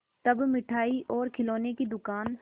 तब मिठाई और खिलौने की दुकान